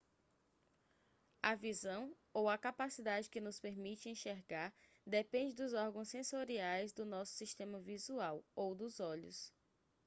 a visão ou a capacidade que nos permite enxergar depende dos órgãos sensoriais do nosso sistema visual ou dos olhos